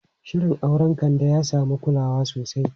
Shirin auren Kande ya samu kulawa sosai.